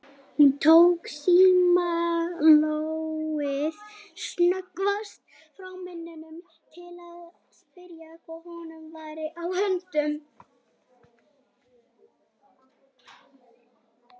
Hún tók símtólið snöggvast frá munninum til að spyrja hvað honum væri á höndum.